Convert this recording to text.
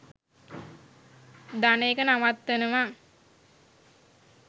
දන එක නවත්තනවා.